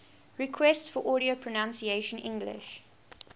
requests for audio pronunciation english